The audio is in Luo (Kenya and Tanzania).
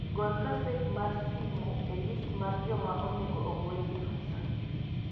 Gol gaset mar simo e list mar joma onego ogwel e rusa